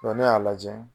ne y'a lajɛ